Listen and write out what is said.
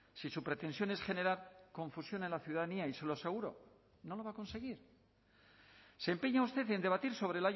si su pretensión es generar confusión a la ciudadanía y se lo aseguro no lo va a conseguir se empeña usted en debatir sobre